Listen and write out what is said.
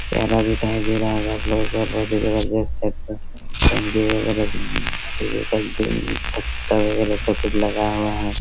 प्यारा दिखाई दे रहा होगा आपलोगो को और बहुत ही जबरजस्त छत पर टंकी-वगेरा उँ टी_वी का टिन छत्ता वगेरा सबकुछ लगा हुआ है।